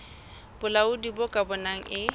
bolaodi bo ka bonang e